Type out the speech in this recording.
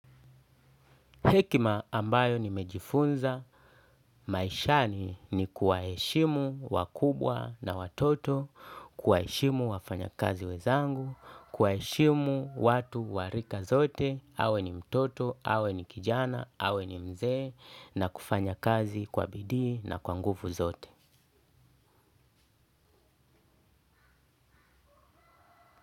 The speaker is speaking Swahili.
Hekima ambayo nimejifunza maishani ni kuwaheshimu wakubwa na watoto, kuwaheshimu wafanyakazi wenzangu, kuwaheshimu watu wa rika zote, awe ni mtoto, awe ni kijana, awe ni mzee na kufanya kazi kwa bidii na kwa nguvu zote.